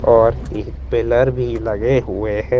और एक पिलर भी लगे हुए ह--